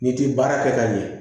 N'i ti baara kɛ ka ɲɛ